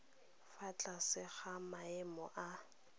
fa tlase ga maemo a